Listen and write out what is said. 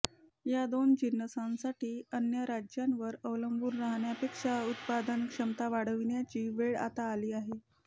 या दोन जिन्नसांसाठी अन्य राज्यांवर अवलंबून राहण्यापेक्षा उत्पादन क्षमता वाढविण्याची वेळ आता आली आहे